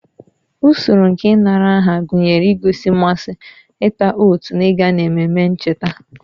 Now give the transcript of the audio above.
Usoro nke ịnara aha gụnyere igosi mmasị, ịta oat na ịga n'ememe ncheta